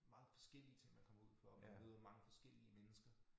Meget forskellige ting man kommer ud for og man møder mange forskellige mennesker